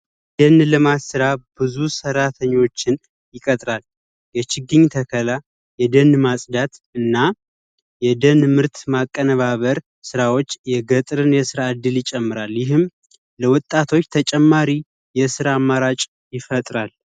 ደን ልማት ልማት ስራ ብዙ ሰራተኞችን ይቆጥራል። የችግኝ ተከላ ፣የደን ማፅዳት እና የነን ምርት ማቀነባበር ስራዎች የገጠርን የስራ እድል ይጨምራል። ይህም ለወጣቶች ተጨማሪ የስራ እድል ይፈጥራል።